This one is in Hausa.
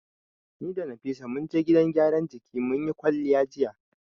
Ni da Nafisa mun je gidan gyaran jiki mun yi kwalliya jiya.